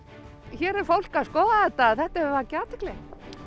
hér er fólk að skoða þetta þetta hefur valdið athygli